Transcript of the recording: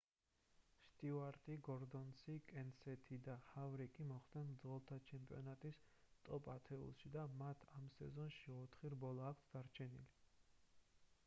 სტიუარტი გორდონი კენსეთი და ჰავრიკი მოხვდნენ მძღოლთა ჩემპიონატის ტოპ-ათეულში და მათ ამ სეზონში ოთხი რბოლა აქვთ დარჩენილი